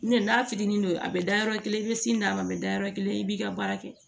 N tɛ n'a fitinin don a bɛ da yɔrɔ kelen i bɛ sin d'a ma a bɛ dayɔrɔ kelen i b'i ka baara kɛ